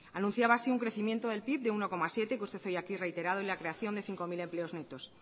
anunciaba así un crecimiento del pib de uno coma siete que usted hoy aquí ha reiterado y la creación de cinco mil empleos netos